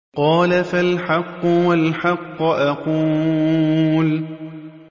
قَالَ فَالْحَقُّ وَالْحَقَّ أَقُولُ